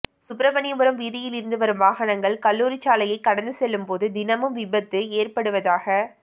சுப்பிரமணியபுரம் வீதியில் இருந்து வரும் வாகனங்கள் கல்லுாரிச்சாலையை கடந்து செல்லும் போது தினமும் விபத்து ஏற்படுவதாக